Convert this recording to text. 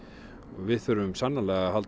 við þurfum sannarlega að halda